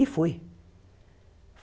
E fui.